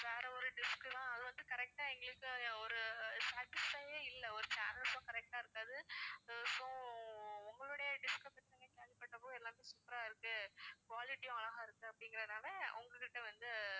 வேற ஒரு dish தான் அது வந்து correct ஆ எங்களுக்கு ஒரு satisfy யே இல்ல ஒரு channels உம் correct ஆ இருக்காது உங்களுடைய dish அ பத்தி கேள்விப்பட்டப்போ எல்லாமே super ஆ இருக்கு quality உம் அழகா இருக்கு அப்படிங்குறதுனால உங்ககிட்ட வந்து